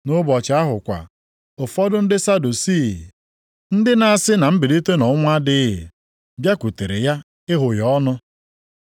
Nʼụbọchị ahụ kwa, ụfọdụ ndị Sadusii, ndị na-asị na mbilite nʼọnwụ adịghị, bịakwutere ya ịghụ ya ọnụ.